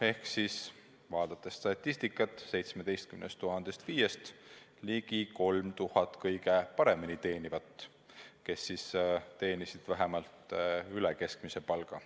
Kui vaadata statistikat, siis näeme: 17 000 FIE-st tähendas see ligi 3000 kõige paremini teenivat, kes teenisid vähemalt üle keskmise palga.